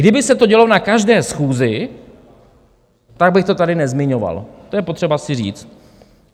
Kdyby se to dělo na každé schůzi, tak bych to tady nezmiňoval, to je potřeba si říct.